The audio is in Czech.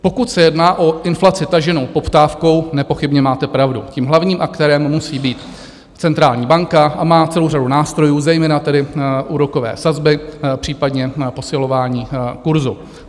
Pokud se jedná o inflaci taženou poptávkou, nepochybně máte pravdu, tím hlavním aktérem musí být centrální banka a má celou řadu nástrojů, zejména tedy úrokové sazby, případně posilování kurzu.